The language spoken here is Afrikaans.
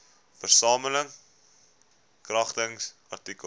versamel kragtens artikel